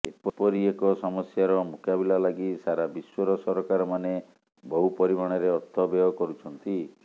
ଏପରି ଏକ ସମସ୍ୟାର ମୁକାବିଲା ଲାଗି ସାରା ବିଶ୍ୱର ସରକାରମାନେ ବହୁ ପରିମାଣରେ ଅର୍ଥ ବ୍ୟୟ କରୁଛନ୍ତି